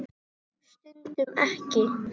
Stundum ekki.